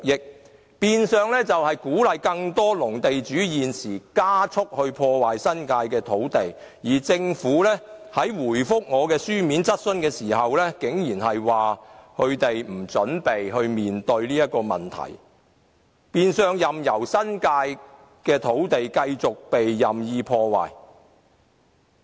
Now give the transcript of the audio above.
這變相鼓勵更多農地地主現時加速破壞新界土地，而政府回答我的書面質詢時，竟然表示他們不準備面對這個問題，任由新界土地繼續被任意破壞。